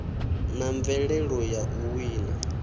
na mvelelo ya u wina